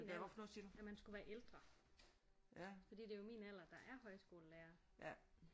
Min alder at man skulle være ældre fordi det er jo min alder der er højskolelærere